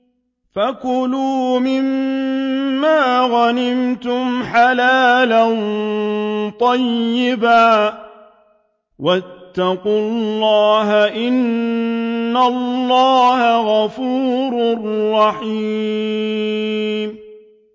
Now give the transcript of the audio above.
فَكُلُوا مِمَّا غَنِمْتُمْ حَلَالًا طَيِّبًا ۚ وَاتَّقُوا اللَّهَ ۚ إِنَّ اللَّهَ غَفُورٌ رَّحِيمٌ